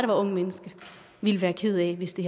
unge mennesker ville være ked af hvis det